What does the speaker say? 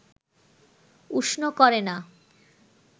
উষ্ণ করে না